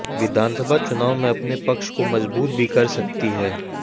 विधानसभा चुनाव में अपने पक्ष को मजबूत भी कर सकती है